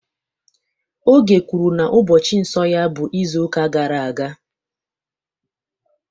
Oge kwuru na ụbọchị nsọ ya bụ izuụka gara aga